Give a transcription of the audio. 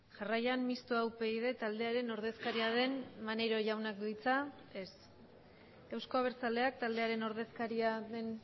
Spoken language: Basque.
jarraian mixtoa upyd taldearen ordezkaria den maneiro jaunak du hitza ez euzko abertzaleak taldearen ordezkaria den